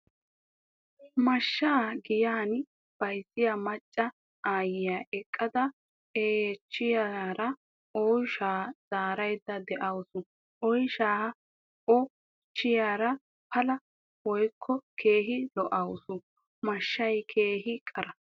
mashshaa giyan bayzziya Macca aayyiya eqadda eychchiyaarissi oyshaa Zaaraydda dawusu. oyshaa oy chiyara pala woykko Keehi loawusu. mashshay keehi qara.